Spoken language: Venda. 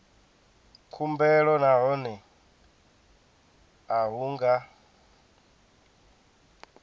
khumbelo nahone a hu nga